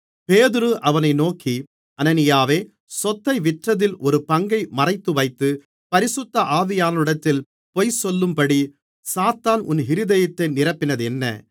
பேதுரு அவனை நோக்கி அனனியாவே சொத்தை விற்றதில் ஒரு பங்கை மறைத்துவைத்து பரிசுத்த ஆவியானவரிடத்தில் பொய்சொல்லும்படி சாத்தான் உன் இருதயத்தை நிரப்பினதென்ன